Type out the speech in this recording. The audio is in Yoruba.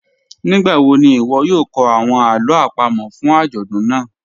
Nigbawo ni iwọ yoo kọ awọn alo apamo fun ajọdun naa?